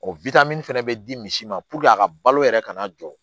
O fɛnɛ bɛ di misi ma a ka balo yɛrɛ kana jɔ